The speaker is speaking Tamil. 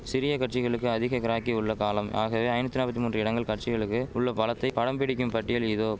சிறிய கட்சிகளுக்கு அதிக கிராக்கி உள்ள காலம் ஆகவே ஐநூத்தி நாப்பத்தி மூன்று இடங்கள் கட்சிகளுக்கு உள்ள பலத்தை படம் பிடிக்கும் பட்டியல் இதோ